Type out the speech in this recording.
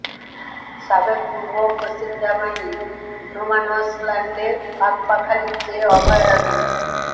সাবেক পূর্ব ও পশ্চিম জার্মানির নোম্যানস ল্যান্ডে পাখপাখালির যে অভয়ারণ্য